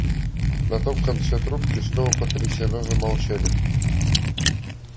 на том конце трубки снова потрясенно замолчали